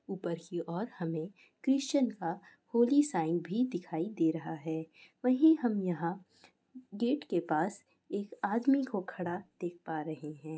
ऊपर की ओर हमे क्रिस्चियन का होली साइन भी दिखाई दे रहा है। वहीं हम यहाँ गेट के पास एक आदमी को खड़ा देख पा रहे है।